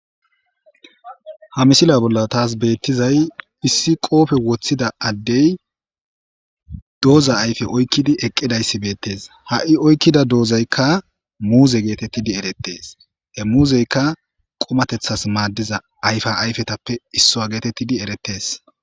ha misila bolla taas beettizay issi qoofe woththida addey dooza ayfe oykkidi eqqidayssi beettees ha7i oykkida doozeykka muuze geetettidi erettees he muuzeyka qomatethas maaddiza ayfa ayfetappe issoa geetettidi eretees